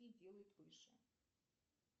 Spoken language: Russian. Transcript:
и делают выше